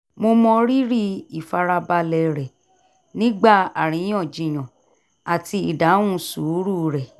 mo mọ rírì ìfarabalẹ̀ rẹ̀ nígbà aríyànjiyàn àti ìdáhùn sùúrù rẹ̀